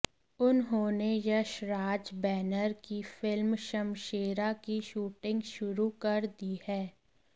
उन्होंने यशराज बैनर की फिल्म शमशेरा की शूटिंग शुरू कर दी है